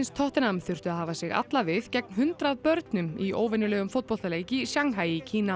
tottenham þurftu að hafa sig alla við gegn hundrað börnum í óvenjulegum fótboltaleik í Shanghai í Kína